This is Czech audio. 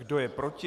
Kdo je proti?